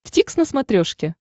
дтикс на смотрешке